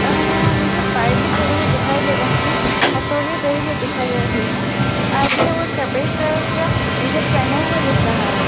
और हमे नीचे पाइप भी डले हुए दिखाई दे रहे है। एक हथोड़े भी दिखाई दे रहे है आदमी वो सफ़ेद कलर का टी-शर्ट पहने हुए दिख रहा है।